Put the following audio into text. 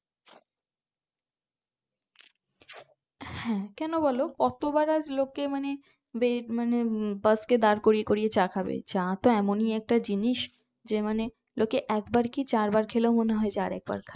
হ্যাঁ কোনো বোলো কতবার আর লোকে মানে এই মানে বাস কে দাঁড় করিয়ে করিয়ে চা খাবে চা তো এমনই একটা জিনিস যে মানে লোকে একবার কি চারবার খেলেও মনে হয় আর একবার খাই